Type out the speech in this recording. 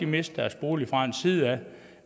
mister deres bolig